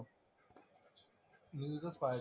न्यूजच पाहायला,